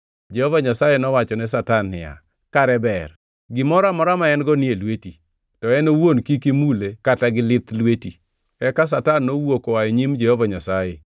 Jehova Nyasaye nowachone Satan niya, “Kare ber, gimoro amora ma en-go ni e lweti, to en owuon kik imule kata gi lith lweti.” Eka Satan nowuok oa e nyim Jehova Nyasaye.